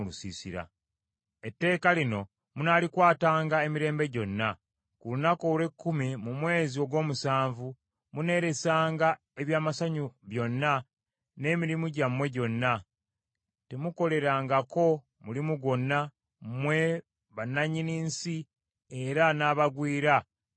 “Etteeka lino munaalikwatanga emirembe gyonna: Ku lunaku olw’ekkumi mu mwezi ogw’omusanvu muneelesanga eby’amasanyu byonna n’emirimu gyammwe gyonna, temuukolerengako mulimu gwonna mmwe bannannyini nsi era n’abagwira ababeera mu mmwe,